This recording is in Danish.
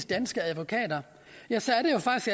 danske advokater